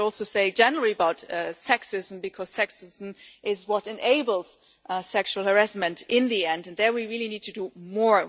I would also say generally about sexism because sexism is what enables sexual harassment in the end, and there we really need to do more.